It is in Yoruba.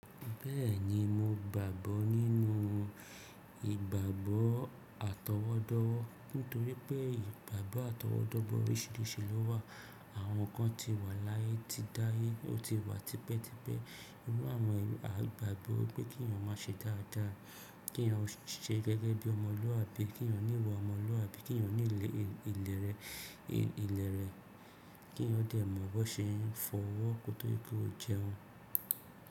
Bẹ́ẹ̀ni mo gbàgbọ́ nínú ìgbàgbọ́ àtọwọ́dọ́wọ́, nítorí pé ìgbàgbọ́ àtọwọ́dọ́bọ̀ oríṣìíríṣìí lọ wà. Àwọn kan ti wà láyé ti dáyé, ó ti wà tipẹ́tipẹ́. Irú àwọn èrò igbàgbọ́ pé kí ènìyàn má ṣe dáadáa, kí ènìyàn ó ṣe gẹ́gẹ́ bí ọmọlúàbí, kí ènìyàn ó ní iwa ọmọlúàbí, kí ènìyàn ó ní ìlẹ̀ rẹ̀, kí ènìyàn ó dẹ̀ mọ̀ bó ṣe ń fọwọ́, kotorí pé ó jẹun.